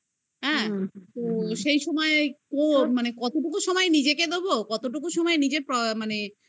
হ্যাঁ তো সেই সময় ও মানে কতটুকু সময় নিজেকে দেব কতটুকু সময় নিজের মানে